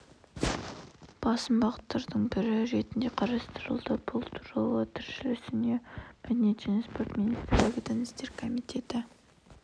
басым бағыттардың бірі ретінде қарастырылды бұл туралы тілшісіне мәдениет және спорт министрлігі дін істері комитеті